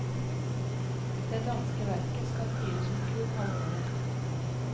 Det danske verket skal fyres med kull halve året.